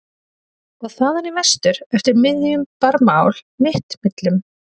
og þaðan í vestur eftir miðjum Barmaál mitt millum?